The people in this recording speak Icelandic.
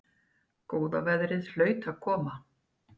Góða veðrið hlaut að koma.